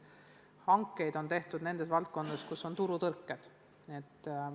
Hankeid on tehtud nendes valdkondades, kus on turutõrked.